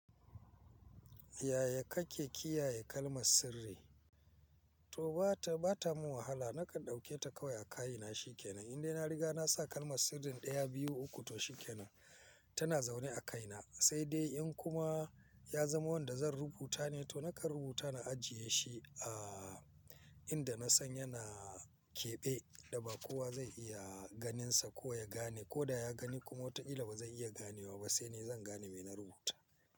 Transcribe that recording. Yaya kake kiyaye kalmar sirri? To ba ta, ba ta mun wahala nakan dauke ta kawai a kaina shikenan. In dai na riga na sa kalmar sirrin daya, biyu, uku to shikenan tana zaune a kaina. Sai dai in kuma ya zama wanda zan rubuta ne to nakan rubuta na ajiye shi a inda na san yana keɓe inda ba kowa zai iya ganinsa ko ya gane. Ko da ya gani kuma wataƙila bazai iya ganewa ba. Sai ni zan gane me na rubuta.